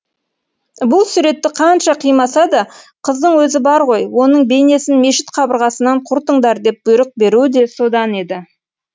бұл суретті қанша қимаса да қыздың өзі бар ғой оның бейнесін мешіт қабырғасынан құртыңдар деп бұйрық беруі де содан еді